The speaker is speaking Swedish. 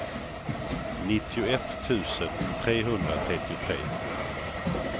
nittioett tusen trehundratrettiotre